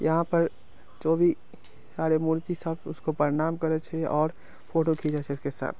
यहाँ पर जो भी सारे मूर्ति सब उसको प्रणाम करे छे और फोटो घीचै छे उसके साथ।